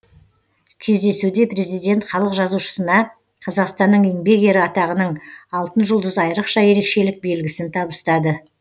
кездесуде президент халық жазушысына қазақстанның еңбек ері атағының алтын жұлдыз айрықша ерекшелік белгісін табыстады